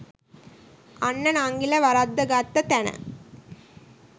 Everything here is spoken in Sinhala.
අන්න නංඟිල වරද්ද ගත්ත තැන